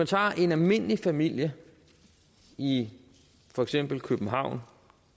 tager en almindelig familie i for eksempel københavn